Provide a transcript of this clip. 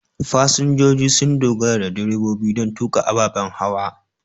Fasinjoji sun dogara da direbobi don tuƙa ababen hawa.